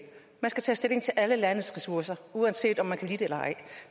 man skal tage stilling til alle landets ressourcer uanset om man kan lide det eller ej